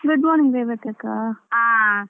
Good morning ರೇವತಿಯಕ್ಕ.